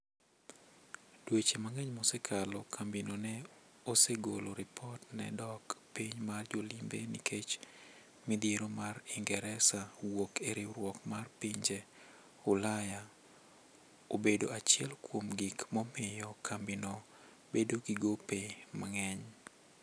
Dweche mang'eny mosakalo, kambi no ne osegolo ripot ne dok piny mar jolimbe nikech midhiero mar ingresa wuok e riwruok mar pinje ulaya(Brexit),obedo achiel kuom gik momiyo kambi no bedo gi gope mang'eny.